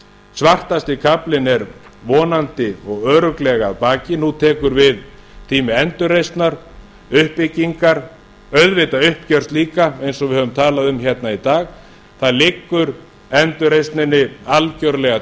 svartasti kaflinn er vonandi og örugglega að baki nú tekur við tími endurreisnar uppbyggingar auðvitað uppgjör líka eins og við höfum talað um í dag það liggur endurreisninni algerlega